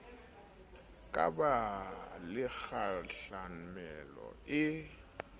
ka ba le kgahlamelo e